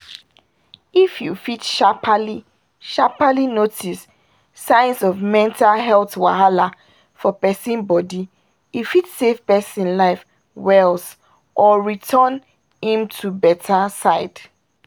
if you fit sharpaly-sharpaly notice signs of mental health wahala for pesin body e fit save pesin life wells or return im to beta syd